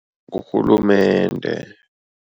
Ngurhulumende.